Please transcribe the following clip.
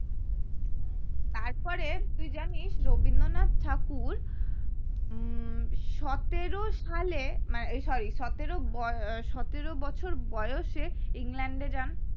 তারপরে তুই জানিস রবীন্দ্রনাথ ঠাকুর উম সতেরো সালে এই মানে sorry সতেরো ব সতেরো বছর বয়সে ইংল্যান্ড এ যান